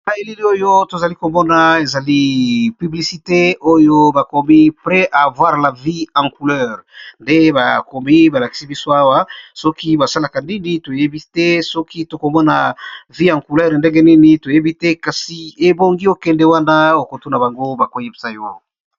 Na elili oyo tozali komona ezali piblisite oyo bakomi pre avoir la vie en couleur nde bakomi balakisi biso awa soki ba salaka ndini toyebi te soki tokomona vie en couleur ndenge nini toyebi te kasi ebongi okende wana okotuna bango bako yebisa yo.